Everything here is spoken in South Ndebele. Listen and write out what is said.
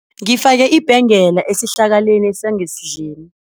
Ngifake ibhengela esihlakaleni sangesidleni.